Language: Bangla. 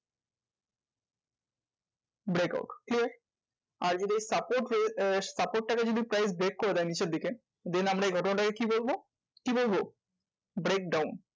Brackout clear? আর যদি এই support এই support টাকে যদি price break করে দেয় নিচের দিকে then আমরা এই ঘটনাটাকে কি বলবো? কি বলবো? breakdown.